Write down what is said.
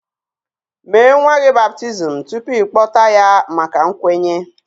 Mee nwa gị baptizim tupu ị kpọta ya maka nkwenye